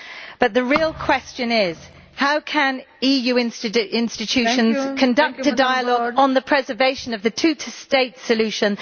But the real question is how can EU institutions conduct a dialogue on the preservation of the two state solution?